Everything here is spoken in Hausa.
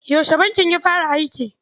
Yaushe bankin ya fara aiki?